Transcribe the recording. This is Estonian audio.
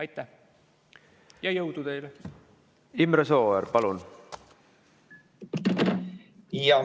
Imre Sooäär, palun!